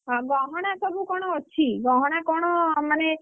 ଗହଣା ସବୁ କଣ ଅଛି? ଗହଣା କ'ଣ ମାନେ?